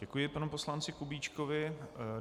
Děkuji panu poslanci Kubíčkovi.